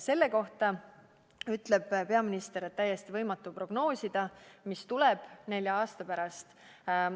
Selle kohta ütleb peaminister, et on täiesti võimatu prognoosida, mis tuleb nelja aasta pärast.